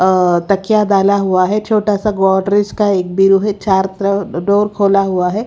अ तकिया डाला हुआ है छोटा सा गोवा ब्रिज का व्यू है चार डोर खोला हुआ है.